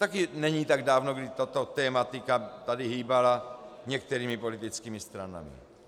Také není tak dávno, kdy tato tematika tady hýbala některými politickými stranami.